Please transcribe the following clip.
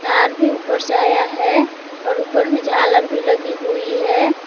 ऊपर से आया है और ऊपर में झालर भी लगी हुई है।